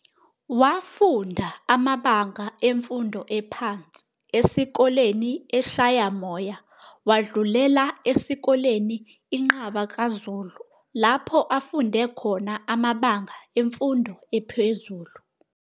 Wafunda amabanga emfundo ephansi esikoleni eShayamoya, wadlulela esikoleni iNqabakazulu lapho afunde khona amabanga emfundo ephezulu.